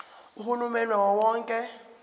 uhulumeni wawo wonke